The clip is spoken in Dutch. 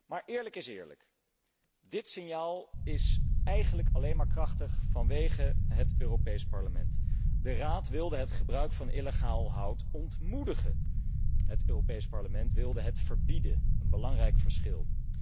Maar eerlijk is eerlijk, dit signaal is eigenlijk alleen maar krachtig dankzij het Europees Parlement. De Raad wilde het gebruik van illegaal hout ontmoedigen. Het Europees Parlement wilde het verbieden, een belangrijk verschil.